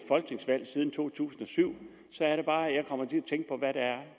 folketingsvalg siden to tusind og syv så er det bare